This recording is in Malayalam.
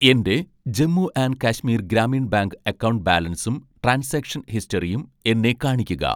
എൻ്റെ Jammu and Kashmir Grameen bank account ബാലൻസും ട്രാൻസാക്ഷൻ ഹിസ്റ്ററിയും എന്നെ കാണിക്കുക.